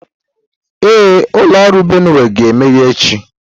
Ee, ụlọ ọrụ Benue ga-emeghe echi.